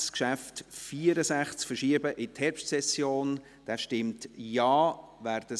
Dieses Geschäft wurde nicht verschoben, mit 84 Nein- zu 50 Ja-Stimmen bei 7 Enthaltungen.